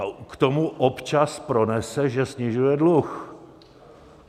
A k tomu občas pronese, že snižuje dluh.